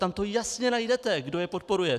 Tam to jasně najdete, kdo je podporuje.